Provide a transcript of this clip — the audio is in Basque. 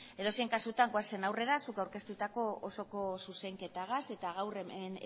edozein kasutan goazen aurrera zuk aurkeztutako osoko zuzenketarekin eta gaur hemen